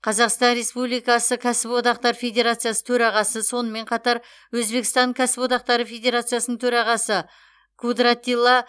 қазақстан республикасы кәсіподақтар федерациясы төрағасы сонымен қатар өзбекстан кәсіподақтары федерациясының төрағасы кудратилла